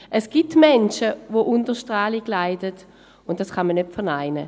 Es gibt Menschen, die unter Strahlung leiden, und dies kann man nicht verneinen.